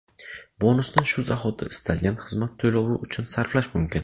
Bonusni shu zahoti istalgan xizmat to‘lovi uchun sarflash mumkin.